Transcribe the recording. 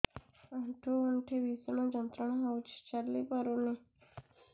ଆଣ୍ଠୁ ଗଣ୍ଠି ଭିଷଣ ଯନ୍ତ୍ରଣା ହଉଛି ଚାଲି ପାରୁନି